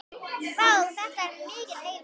Vá, þetta er mikill heiður.